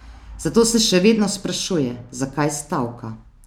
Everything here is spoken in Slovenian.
Zato se še vedno sprašuje, zakaj stavka.